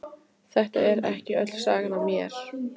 Þetta er ekki öll sagan af mér.